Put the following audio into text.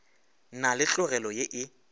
na le tlogelo ye e